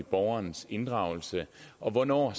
borgerens inddragelse og hvornår